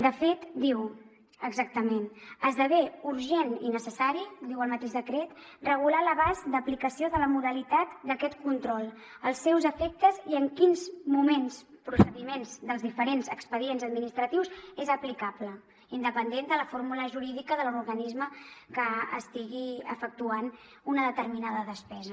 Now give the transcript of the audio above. de fet diu exactament esdevé urgent i necessari diu el mateix decret regular l’abast d’aplicació de la modalitat d’aquest control els seus efectes i en quins moments procediments dels diferents expedients administratius és aplicable independent de la fórmula jurídica de l’organisme que estigui efectuant una determinada despesa